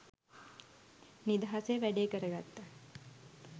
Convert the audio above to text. නිදහසේ වැඩේ කරගත්තා.